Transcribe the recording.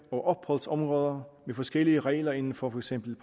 og opholdsområder med forskellige regler inden for for eksempel